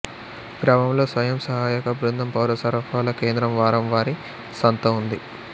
గ్రామంలో స్వయం సహాయక బృందం పౌర సరఫరాల కేంద్రం వారం వారీ సంత ఉంది